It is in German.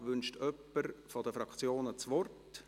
Wünscht jemand von den Fraktionen das Wort?